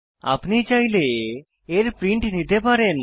আপনি চাইলে এর প্রিন্ট নিতে পারেন